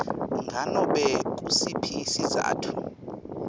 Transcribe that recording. nganobe ngusiphi sizatfu